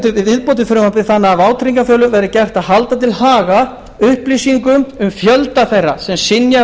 til viðbót við frumvarpið þannig að vátryggingafélögum verði gert að halda til haga upplýsingum um fjölda þeirra sem synjað